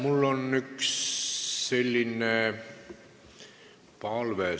Mul on üks palve.